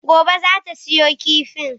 Gobe ​​zata siyo kifin.